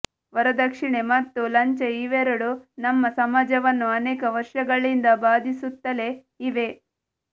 ವರದಕ್ಷಿಣೆ ಮತ್ತು ಲಂಚ ಇವೆರಡೂ ನಮ್ಮ ಸಮಾಜವನ್ನು ಅನೇಕ ವರ್ಷಗಳಿಂದ ಬಾಧಿಸುತ್ತಲೇ ಇವೆ